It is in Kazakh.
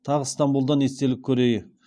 тағы стамбулдан естелік көреи і